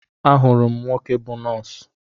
Ahụrụ m nwoke bụ nọọsụ